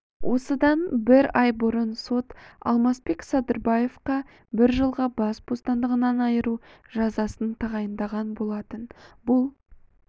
осыдан бір ай бұрын сот алмасбек садырбаевқа бір жылға бас бостандығынан айыру жазасын тағайындаған болатын бұл